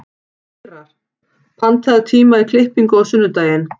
Ýrar, pantaðu tíma í klippingu á sunnudaginn.